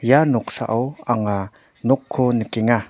ia noksao anga nokko nikenga.